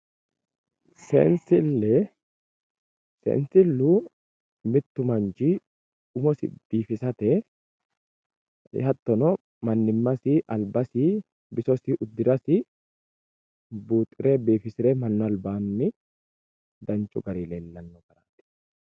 Seensile sensilu mittu manchi umosi biifisate hatono manimasi albasi bisosi udirasi buuxire bifisire manu albaani danchu garini leelano yaate.